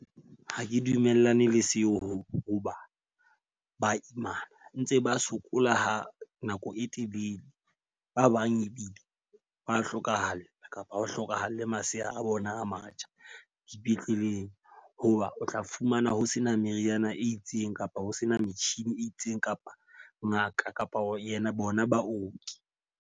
Ha ke dumellane le seo hoba ba imana ntse ba sokola ha nako e telele. Ba bang ebile ba hlokahala, kapa ha ho hlokahale masea a bona a matjha dipetleleng. Ho ba o tla fumana ho sena meriana e itseng kapa ho sena metjhini e itseng kapa ngaka kapa ho yena bona baoki.